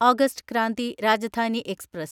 August Kranti Rajdhani express